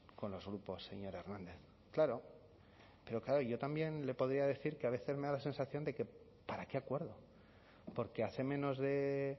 con los grupos señor hernández claro pero claro yo también le podría decir que a veces me da la sensación de que para qué acuerdo porque hace menos de